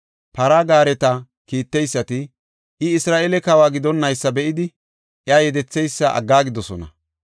Para gaareta kiitteysati, I Isra7eele kawa gidonnaysa be7idi, iya yedetheysa aggaagidosona.